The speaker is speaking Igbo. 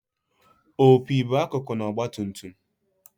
opi bụ akụkụ na ọgbatumtum